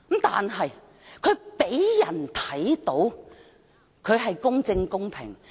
但他讓人看到，他是公正、公平的。